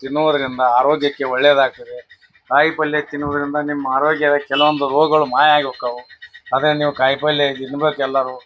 ತಿನ್ನುವದರಿಂದ ಆರೋಗ್ಯಕ್ಕೆ ಒಳ್ಳೆಯದಾಗುತ್ತದೆ. ಕಾಯಿ ಪಲ್ಯ ತಿನ್ನೋದ್ರಿಂದ ನಿಮ್ಮ ಆರೋಗ್ಯದ ಕೆಲವೊಂದು ರೋಗಗಗಳು ಮಾಯಾಗಿ ಹೊಕ್ಕಾವು. ಅದೇ ನೀವ್ ಕಾಯಿ ಪಲ್ಯ ತಿನ್ಬೇಕು ಎಲ್ಲರೂ .